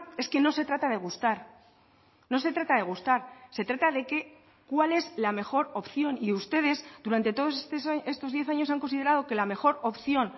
es que no se trata de gustar no se trata de gustar se trata de que cuál es la mejor opción y ustedes durante todos estos diez años han considerado que la mejor opción